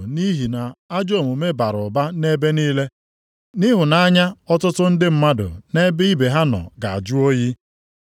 Nʼihi na ajọ omume bara ụba nʼebe niile, ịhụnanya ọtụtụ ndị mmadụ nʼebe ibe ha nọ ga-ajụ oyi.